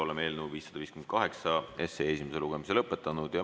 Oleme eelnõu 558 esimese lugemise lõpetanud.